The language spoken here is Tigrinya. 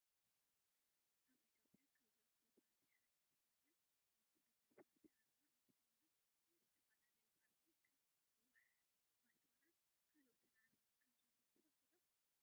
ኣብ ኢትዮጵያ ካብ ዝርከቡ ፖርቲ ሓደ ዝኮነ ብልፅግና ፖርቲ ኣርማ እንትከውን ናይ ዝተፈላለዩ ፖርቲ ከም ህወሓት፣ ባይቶናን ካልኦትን ኣርማ ከምዘሎ ትፈልጡ ዶ ?